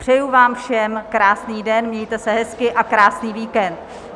Přeji vám všem krásný den, mějte se hezky a krásný víkend.